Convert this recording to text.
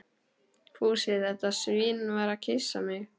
Fúsi, þetta svín, var að kyssa mig.